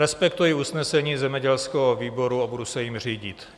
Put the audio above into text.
Respektuji usnesení zemědělského výboru a budu se jím řídit.